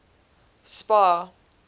spar